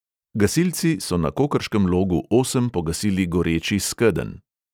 Gasilci so na kokrškem logu osem pogasili goreči skedenj.